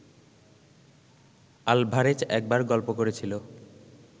Alvarez একবার গল্প করেছিল